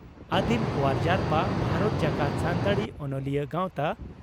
ᱟᱹᱫᱤᱢ ᱚᱣᱟᱨ ᱡᱟᱨᱯᱟ ᱵᱷᱟᱨᱚᱛ ᱡᱟᱠᱟᱛ ᱥᱟᱱᱛᱟᱲᱤ ᱚᱱᱚᱞᱤᱭᱟᱹ ᱜᱟᱶᱛᱟ